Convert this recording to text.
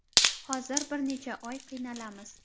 Hozir bir necha oy qiynalamiz.